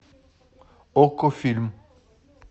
окко фильм